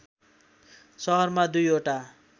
सहरमा दुईवटा